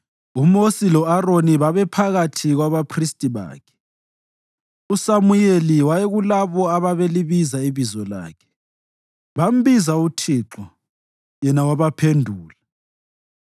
UMosi lo-Aroni babephakathi kwabaphristi bakhe, uSamuyeli wayekulabo ababelibiza ibizo lakhe; bambiza uThixo Yena wabaphendula.